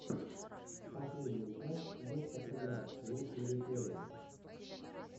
последняя часть вот как играть лучшие реплеи